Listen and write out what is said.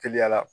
Teliya la